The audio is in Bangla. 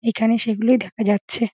এখানে সে গুলোই দেখা যাচ্ছে।